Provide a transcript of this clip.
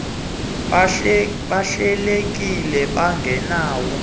ababekade behlelekile bengenawo